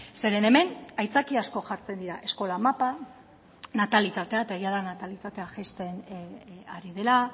zeren hemen aitzakia asko jartzen dira eskola mapa natalitatea eta egia da natalitatea jaisten ari dela